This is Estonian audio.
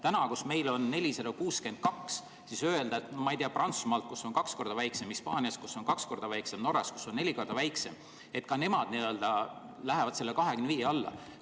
Täna, kui meil on 462, siis öelda, ma ei tea, et Prantsusmaalt, kus on kaks korda väiksem, Hispaaniast, kus on kaks korda väiksem, või Norrast, kus on neli korda väiksem, et ka nemad lähevad selle 25 alla.